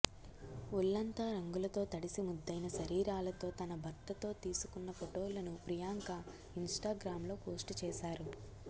ఒళ్లంతా రంగులతో తడిసి ముద్దయిన శరీరాలతో తన భర్తతో తీసుకున్న ఫొటోలను ప్రియాంక ఇన్స్టాగ్రామ్లో పోస్ట్ చేశారు